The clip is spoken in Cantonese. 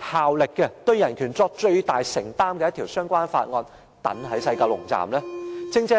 效力，以及對人權作最大承擔的相關條例放在西九龍站實施呢？